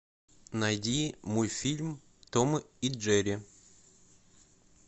найди мультфильм том и джерри